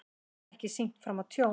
Ekki sýnt fram á tjón